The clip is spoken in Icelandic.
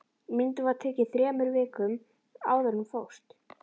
Myndin var tekin þremur vikum áður en hún fórst